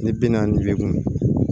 Ni bi naani ni seegin